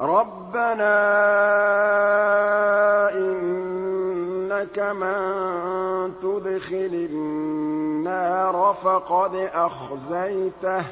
رَبَّنَا إِنَّكَ مَن تُدْخِلِ النَّارَ فَقَدْ أَخْزَيْتَهُ ۖ